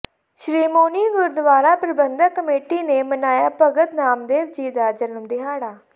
Shiromani Gurdwara Parbandhak committee ਨੇ ਮਨਾਇਆ ਭਗਤ ਨਾਮਦੇਵ ਜੀ ਦਾ ਜਨਮ ਦਿਹਾੜਾ